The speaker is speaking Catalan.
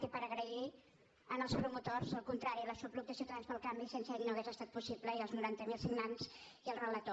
i per agrair als promotors el contrari l’aixopluc de ciutadans pel canvi sense ells no hauria estat possible i els noranta mil signants i el relator